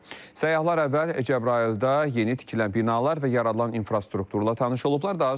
Səyyahlar əvvəl Cəbrayılda yeni tikilən binalar və yaradılan infrastrukturla tanış olublar.